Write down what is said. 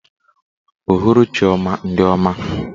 Uhuruchi ọma ndị ọma.